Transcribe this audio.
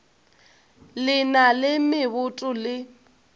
le na le meboto le